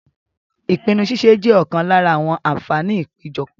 Ìpinnu ṣíṣe jẹ́ ọ̀kan lára àwọn àǹfààní ìpéjọpọ̀.